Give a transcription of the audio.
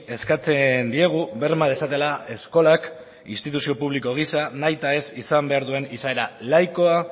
eskatzen diegu berma dezatela eskolak instituzio publiko gisa nahi eta ez izan behar duen izaera laikoa